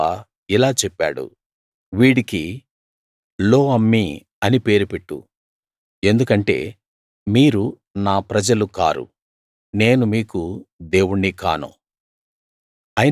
యెహోవా ఇలా చెప్పాడు వీడికి లో అమ్మీ అని పేరు పెట్టు ఎందుకంటే మీరు నా ప్రజలు కారు నేను మీకు దేవుణ్ణి కాను